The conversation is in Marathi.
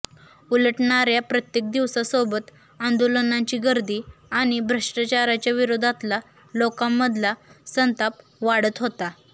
उलटणाऱ्या प्रत्येक दिवसासोबत आंदोलनाची गर्दी आणि भ्रष्टाचाराच्या विरोधातला लोकांमधला संताप वाढत होता